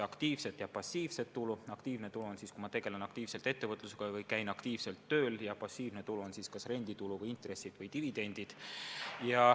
Aktiivne tulu tekib siis, kui ma tegelen aktiivselt ettevõtlusega või käin aktiivselt tööl, ja passiivne tulu on kas renditulu või instressid või dividendid.